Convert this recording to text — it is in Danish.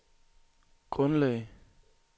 grundlag